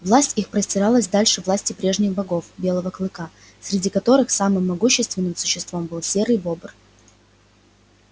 власть их простиралась дальше власти прежних богов белого клыка среди которых самым могущественным существом был серый бобр